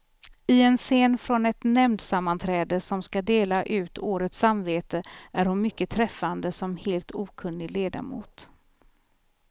I en scen från ett nämndsammanträde, som skall dela ut årets samvete, är hon mycket träffande som helt okunnig ledamot.